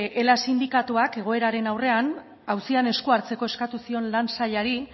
ela sindikatuak egoeraren aurrean auzian esku hartzeko eskatu zion lan sailari